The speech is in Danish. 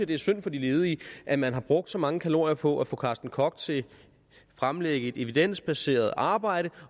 det er synd for de ledige at man har brugt så mange kalorier på at få carsten koch til at fremlægge et evidensbaseret arbejde